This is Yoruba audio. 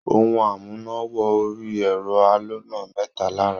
Ohun amúná-wọ-orí-ẹ̀rọ aloná mẹ́ta la rà.